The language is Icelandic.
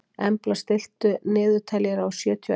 Embla, stilltu niðurteljara á sjötíu og eina mínútur.